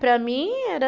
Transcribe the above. Para mim era...